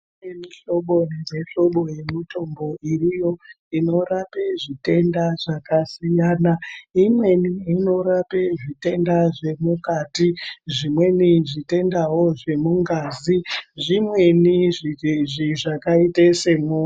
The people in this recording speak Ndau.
Kune mihlobo nemihlobo yemitombo iriyo ,inorape zvitenda zvakasiyana. Imweni inorape zvitenda zvemukati, zvimweni zvitendawo zvemungazi, zvimweni izvi zvakaita senyo...